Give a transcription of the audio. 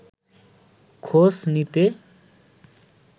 খোঁজ নিতে